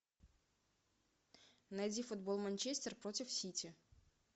найди футбол манчестер против сити